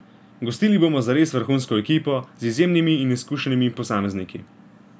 Gostili bomo zares vrhunsko ekipo, z izjemnimi in izkušenimi posamezniki.